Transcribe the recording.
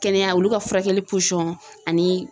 Kɛnɛya olu ka furakɛli ani